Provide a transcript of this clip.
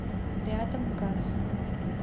рядом гас